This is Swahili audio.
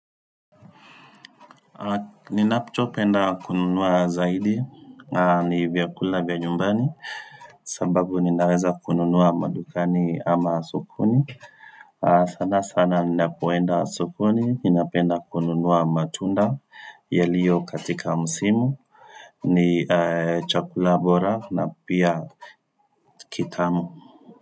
Ninachopenda kununua zaidi ni vyakula vya nyumbani sababu ninaweza kununua madukani ama sokoni sana sana ninapoenda sokoni ninapenda kununua matunda yaliyo katika msimu ni chakula bora na pia kitamu.